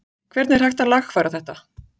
Hvernig er hægt að lagfæra þetta?